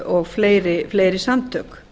og fleiri samtök